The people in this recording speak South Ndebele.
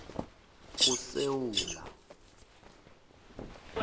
kusewula